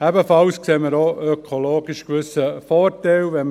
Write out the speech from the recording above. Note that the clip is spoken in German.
Ebenfalls sehen wir auch ökologisch gewisse Vorteile.